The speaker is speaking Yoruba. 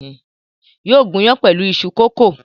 Yóò gún iyán pẹ̀lú iṣu kókò.